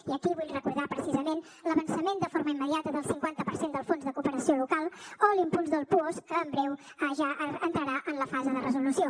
i aquí vull recordar precisament l’avançament de forma immediata del cinquanta per cent del fons de cooperació local o l’impuls del puosc que en breu ja entrarà en la fase de resolució